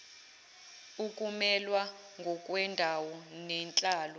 ukumelwa ngokwendawo nenhlalo